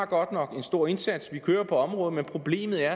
godt nok en stor indsats vi kører i området men problemet er